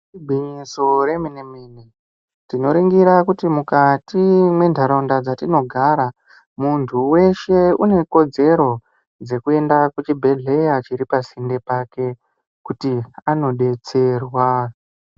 Igwinyiso remenemene tinoringira kuti mukati mwenharaunda dzatinogara muntu weshe unekodzero dzekuenda kuchibhhleya chiripasinde pake kuti anodetserwa.